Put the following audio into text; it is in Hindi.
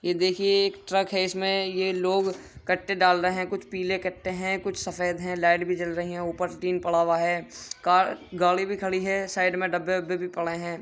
ये देखिए एक ट्रक है। इसमें ये लोग कट्टे डाल रहे हैं। कुछ पीले कट्टे हैं। कुछ सफेद हैं। लाइट भी जल रही है। ऊपर से टीन पड़ा हुआ है। कार गाड़ी भी खड़ी है। साइड में डब्बे वब्बे भी पड़े हैं।